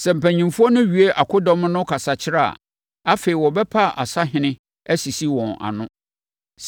Sɛ mpanimfoɔ no wie akodɔm no kasakyerɛ a, afei wɔbɛpa asahene asisi wɔn ano.